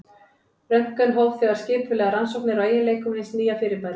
Röntgen hóf þegar skipulegar rannsóknir á eiginleikum hins nýja fyrirbæris.